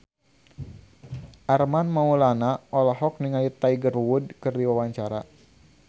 Armand Maulana olohok ningali Tiger Wood keur diwawancara